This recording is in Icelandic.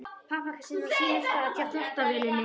Pappakassinn er á sínum stað hjá þvottavélinni.